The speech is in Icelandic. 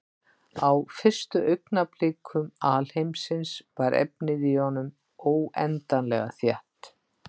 Á fyrstu augnablikum alheimsins var efnið í honum óendanlega þétt.